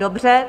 Dobře.